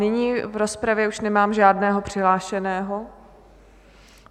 Nyní v rozpravě už nemám žádného přihlášeného.